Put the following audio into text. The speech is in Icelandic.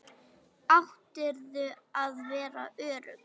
Áttirðu að vera örugg?